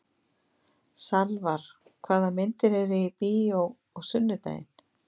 Salvar, hvaða myndir eru í bíó á sunnudaginn?